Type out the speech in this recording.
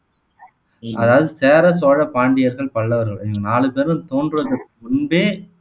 அதாவது சேர, சோழ, பாண்டியர்கள், பல்லவர்கள் இந்த நாலு பேரும் தோன்றதுக்கு முன்பே